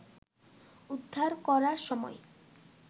উদ্ধার করার সময়